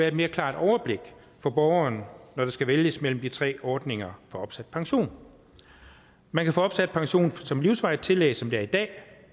et mere klart overblik for borgeren når der skal vælges mellem de tre ordninger for opsat pension man kan få opsat pension som livsvarigt tillæg som det er i dag